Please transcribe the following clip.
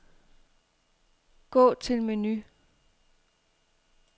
Gå til menu.